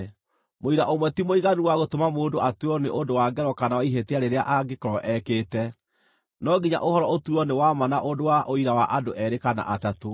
Mũira ũmwe ti mũiganu wa gũtũma mũndũ atuĩrwo nĩ ũndũ wa ngero kana wa ihĩtia rĩrĩa angĩkorwo ekĩte. No nginya ũhoro ũtuuo nĩ wa ma na ũndũ wa ũira wa andũ eerĩ kana atatũ.